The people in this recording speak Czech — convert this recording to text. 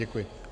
Děkuji.